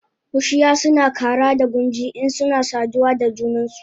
Bushiya suna kara da gunji insuna saduwa da junansu